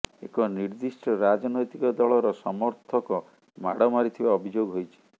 ଏକ ନିର୍ଦ୍ଦିଷ୍ଟ ରାଜନୈତିକ ଦଳର ସମର୍ଥକ ମାଡ଼ ମାରିଥିବା ଅଭିଯୋଗ ହୋଇଛି